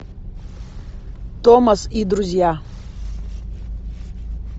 томас и друзья